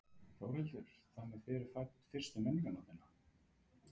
Þórhildur: Þannig þið eru fædd fyrstu Menningarnóttina?